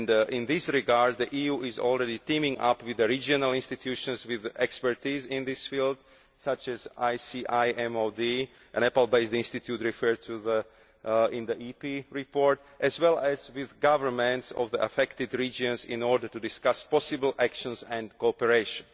In this regard, the EU is already teaming up with the regional institutions with expertise in this field, such as the ICIMOD, a Nepal based institute referred to in the EP report, as well as with the governments of the affected regions, in order to discuss possible actions and cooperation.